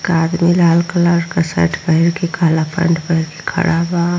आदमी लाल कलर का शर्ट पेहेन के काला पेन्ट पहेन के खड़ा बा--